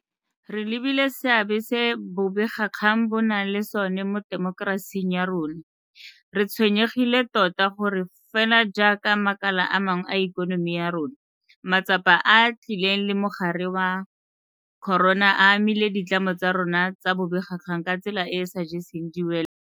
Re lebile seabe se bobegakgang bo nang le sona mo temokerasing ya rona, re tshwenyegile tota gore fela jaaka makala a mangwe a ikonomi ya rona, matsapa a a tlileng le mogare wa corona a amile ditlamo tsa rona tsa bobegakgang ka tsela e e sa jeseng diwelang.